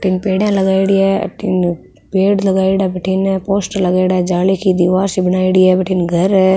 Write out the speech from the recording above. तीन पेडिया लगायोड़ी है अठीने पेड़ लगायोडा बठीने पोस्टर लगायोडा जाली की दिवार सी बनायेड़ी है बठीने घर है।